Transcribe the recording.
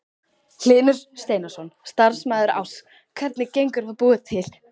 Hlynur Steinarsson, starfsmaður Áss: Hvernig gengur að búa til?